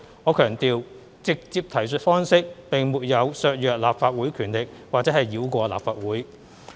我強調，"直接提述方式"並沒有削弱立法會權力或繞過立法會。